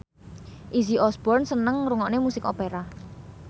Izzy Osborne seneng ngrungokne musik opera